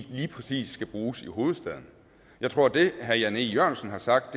lige præcis skal bruges i hovedstaden jeg tror at det herre jan e jørgensen har sagt